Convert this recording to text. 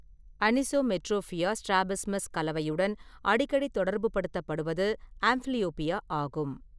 Anisometropia strabismus கலவையுடன் அடிக்கடி தொடர்புப்படுத்தப்படுவது ஆம்ப்லியோப்பியா ஆகும்.